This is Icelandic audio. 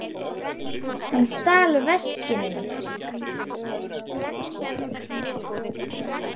Hann stal veskinu mínu.